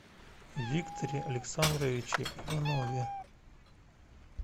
викторе александровиче иванове